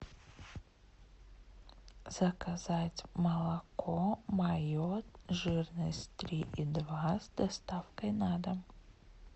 заказать молоко мое жирность три и два с доставкой на дом